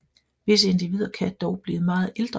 Visse individer kan dog blive meget ældre